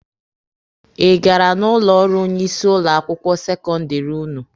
Ị gara n'ụlọ ọrụ onye isi ụlọ akwụkwọ sekọndịrị ụnụ?